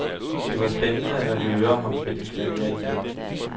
Det var spændende at høre ham spille klaver igen.